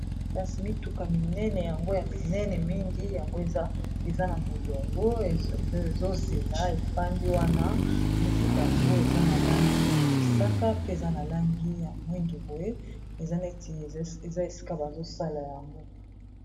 Kasi mituka minene yango ya minene mingi yango eza na molongo ezozela efandi wana mituka yango eza na langi ya mosaka pe eza na langi ya mwindu boye eza neti eza esika bazosala yango.